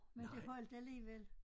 Men det holdt alligevel